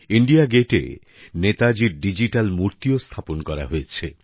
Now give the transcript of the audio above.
India গেটে নেতাজির digital মূর্তিও স্থাপন করা হয়েছে